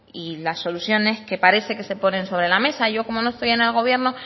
y las soluciones que parece que se ponen sobre la mesa yo como no estoy en el gobierno